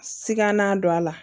Siga na don a la